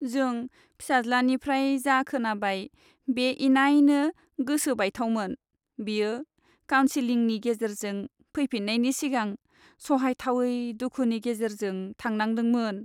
जों फिसाज्लानिफ्राय जा खोनाबाय बे इनायनो गोसो बायथावमोन। बियो काउनसेलिंनि गेजेरजों फैफिन्नायनि सिगां सहायथावै दुखुनि गेजेरजों थांनांदोंमोन।